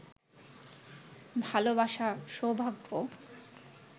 ভালোবাসা, সৌভাগ্য